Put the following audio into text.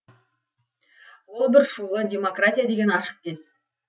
ол бір шулы демократия деген ашық кез